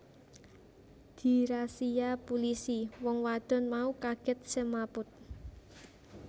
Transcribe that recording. Dirasia pulisi wong wadon mau kagèt semaput